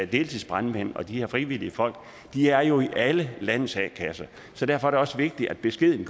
deltidsbrandmænd og de frivillige folk er jo i alle landets a kasser så derfor er det også vigtigt at beskeden